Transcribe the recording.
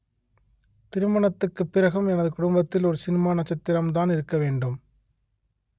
திருமணத்துக்கு பிறகும் எனது குடும்பத்தில் ஒரு சினிமா நட்சத்திரம் தான் இருக்க வேண்டும்